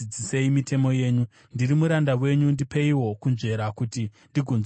Ndiri muranda wenyu; ndipeiwo kunzvera kuti ndigonzwisisa zvamakatema.